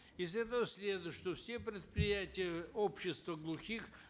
из этого следует что все предприятия общества глухих